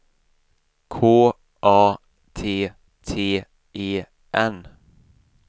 K A T T E N